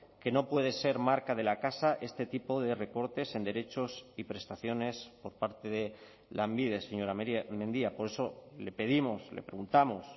que no puede ser marca de la casa este tipo de recortes en derechos y prestaciones por parte de lanbide señora mendia por eso le pedimos le preguntamos